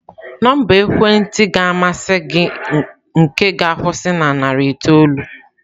Nọmba ekwentị ga-amasị gị nke ga-akwusi na narị itoolu?